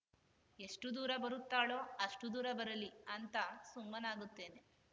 ಎಷ್ಟುದೂರ ಬರುತ್ತಾಳೋ ಅಷ್ಟುದೂರ ಬರಲಿ ಅಂತ ಸುಮ್ಮನಾಗುತ್ತೇನೆ